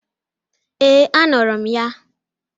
Ee, anụrụ m ya.